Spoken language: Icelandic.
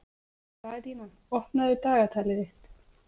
Daðína, opnaðu dagatalið mitt.